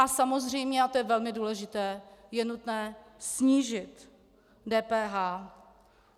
A samozřejmě, a to je velmi důležité, je nutné snížit DPH.